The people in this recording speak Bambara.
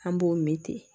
An b'o min di